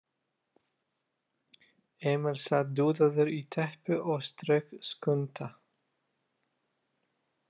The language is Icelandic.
Emil sat dúðaður í teppi og strauk Skunda.